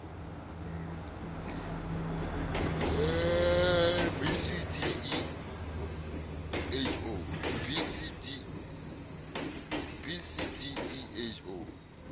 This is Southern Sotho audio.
b c d e ho